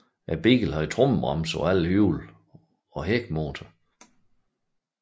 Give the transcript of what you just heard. Bilen havde tromlebremser på alle hjul og hækmotor